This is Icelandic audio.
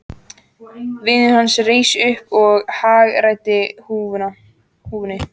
Vinur hans reis upp og hagræddi húfunni.